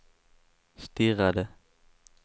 stirrade